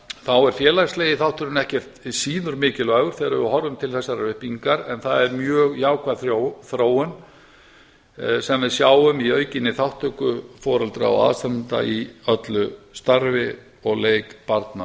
þá er félagslegi þátturinn ekkert síður mikilvægur þegar við horfum til þessarar uppbyggingar en það er mjög jákvæð þróun sem við sjáum í aukinni þátttöku foreldra og aðstandenda í öllu starfi og leik barna